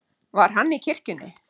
Var hann í kirkjunni?